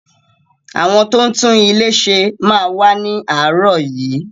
Àwọn tó ń tún ilé ṣe máa wá ni aarọ yìí.